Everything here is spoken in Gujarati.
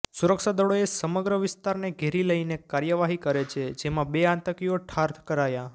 સુરક્ષાદળોએ સમગ્ર વિસ્તારને ઘેરી લઈને કાર્યવાહી કરી છે જેમાં બે આતંકીઓ ઠાર કરાયા